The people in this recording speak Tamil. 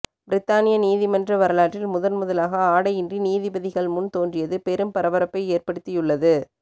பிரித்தானிய நீதிமன்ற வரலாற்றில் முதன் முதலாக ஆடையின்றி நீதிபதிகள் முன் தோன்றியது பெரும் பரபரப்பை ஏற்படுத்தியுள்ளது